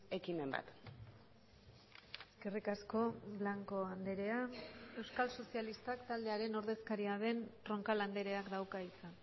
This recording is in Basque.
ekimen bat eskerrik asko blanco andrea euskal sozialistak taldearen ordezkaria den roncal andreak dauka hitza